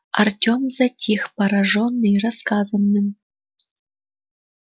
артём затих поражённый рассказанным